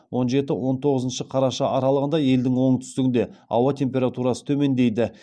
он жеті он тоғызыншы қараша аралығында елдің оңтүстігінде ауа температурасы төмендейді